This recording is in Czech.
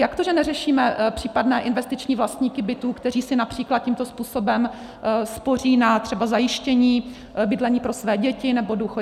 Jak to, že neřešíme případné investiční vlastníky bytů, kteří si například tímto způsobem spoří třeba na zajištění bydlení pro své děti nebo důchod?